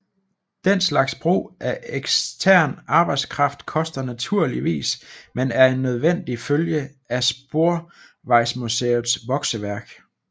Den slags brug af ekstern arbejdskraft koster naturligvis men er en nødvendig følge af Sporvejsmuseets vokseværk